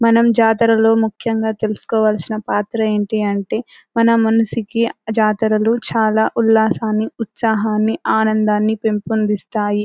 మనం జాతరలో ముఖ్యంగా తెలుసుకోవలసిన పాత్ర ఏంటి అంటే మన మనసుకి జాతరలు చాలా ఉల్లాసాన్ని ఉత్సాహాన్ని ఆనందాన్ని పెంపొందిస్తాయి.